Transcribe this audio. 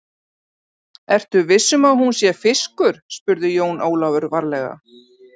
Ertu viss um að hún sé fiskur, spurði Jón Ólafur varlega.